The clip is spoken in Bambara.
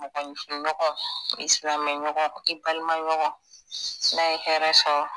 Mɔgɔfinɲɔgɔn i silamɛɲɔgɔn i balimaɲɔgɔn n'a ye hɛrɛ sɔrɔ